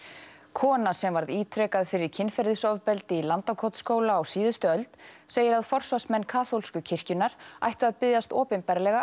kona sem varð ítrekað fyrir kynferðisofbeldi í Landakotsskóla á síðustu öld segir að forsvarsmenn kaþólsku kirkjunnar ættu að biðjast opinberlega